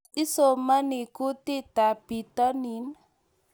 Tos, isomani kutitab bitonin?